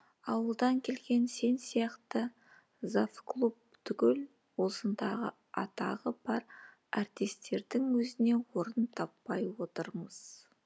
ауылдан келген сен сияқты завклуб түгіл осындағы атағы бар артистердің өзіне орын таппай отырмыз